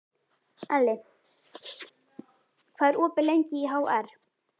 Elli, hvað er opið lengi í HR?